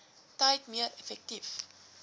tyd meer effektief